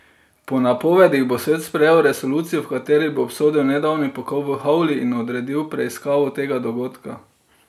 Po napovedih bo svet sprejel resolucijo, v kateri bo obsodil nedavni pokol v Houli in odredil preiskavo tega dogodka.